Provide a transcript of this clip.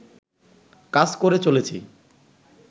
কাজ করে চলেছি